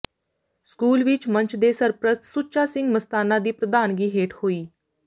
school ਵਿੱਚ ਮੰਚ ਦੇ ਸਰਪ੍ਰਸਤ ਸੁੱਚਾ ਸਿੰਘ ਮਸਤਾਨਾ ਦੀ ਪ੍ਰਧਾਨਗੀ ਹੇਠ ਹੋਈ